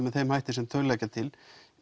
með þeim hætti sem þau leggja til